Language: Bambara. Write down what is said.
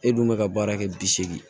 E dun bɛ ka baara kɛ bi seegin